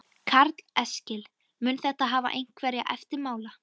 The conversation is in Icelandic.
Karl Eskil: Mun þetta hafa einhverja eftirmála?